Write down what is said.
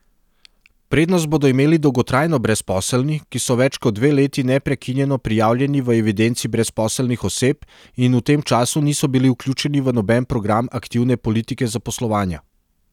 Prednost bodo imeli dolgotrajno brezposelni, ki so več kot dve leti neprekinjeno prijavljeni v evidenci brezposelnih oseb in v tem času niso bili vključeni v noben program aktivne politike zaposlovanja.